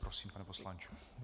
Prosím, pane poslanče.